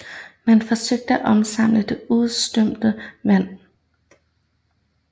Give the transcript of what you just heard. Man forsøgte at opsamle det udstrømmende vand